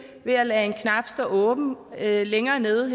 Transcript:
ved at lade en knap stå åben her længere nede